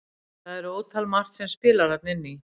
Það er ótal margt sem spilar þarna inn í.